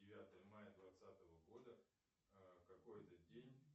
девятое мая двадцатого года какой это день